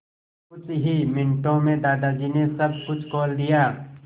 कुछ ही मिनटों में दादाजी ने सब कुछ खोल दिया